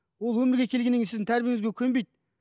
ол өмірге келгеннен кейін сіздің тәрбиеңізге көнбейді